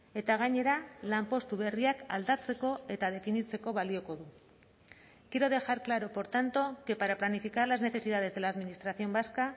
eta gainera lanpostu berriak aldatzeko eta definitzeko balioko du quiero dejar claro por tanto que para planificar las necesidades de la administración vasca